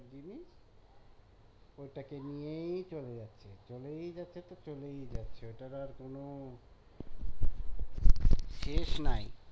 ওটাকে নিয়েই চলে যাচ্ছে চলেই যাচ্ছে তো চলেই যাচ্ছে ওটার আর কোনো শেষ নাই